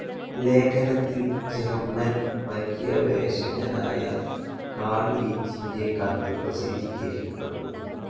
ലേഖനത്തിൽ ജെർമ്മൻ പര്യവേഷകനായ കാൾ ലീച്ചിന്റെ കത്ത് പ്രസിദ്ധീകരിക്കപ്പെട്ടു.